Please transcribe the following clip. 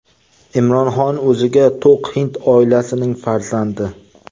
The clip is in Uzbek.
Imron Xon o‘ziga to‘q hind oilasining farzandi.